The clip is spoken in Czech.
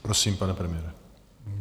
Prosím, pane premiére.